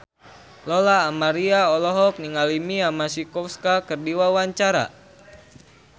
Lola Amaria olohok ningali Mia Masikowska keur diwawancara